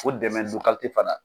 Ko dɛmɛ fana